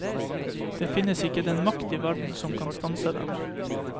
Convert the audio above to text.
Det finnes ikke den makt i verden som kan stanse den.